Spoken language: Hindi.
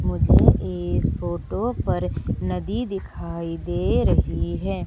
मुझे इस फोटो पर नदी दिखाई दे रही है।